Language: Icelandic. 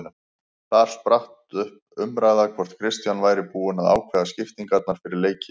Þar spratt um umræða hvort Kristján væri búinn að ákveða skiptingarnar fyrir leiki.